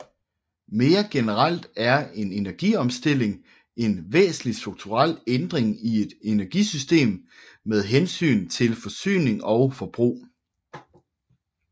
Mere generelt er en energiomstilling en væsentlig strukturel ændring i et energisystem med hensyn til forsyning og forbrug